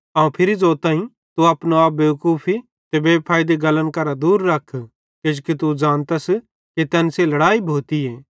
अवं फिरी ज़ोताईं तू अपनो आप बेवकूफी ते बेफैइदी गल्लन करां दूर रा किजोकि तू ज़ानतस कि तैन सेइं लड़ाई भोतिन